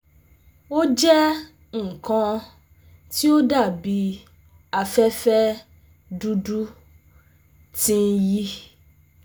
O jẹ nkan ti o dabi afẹfẹ dudu ti n yi